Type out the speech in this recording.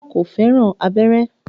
Rárá, kò fẹ́ràn abẹ́rẹ́